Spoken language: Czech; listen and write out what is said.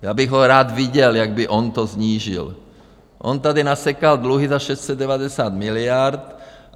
Já bych ho rád viděl, jak by on to snížil, on tady nasekal dluhy za 690 miliard.